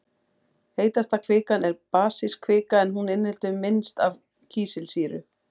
Heitasta kvikan er basísk kvika en hún inniheldur minnst af kísilsýru.